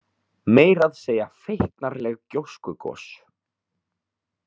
Meira að segja feiknarleg gjóskugos.